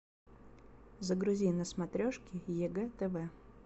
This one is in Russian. загрузи на смотрешке егэ тв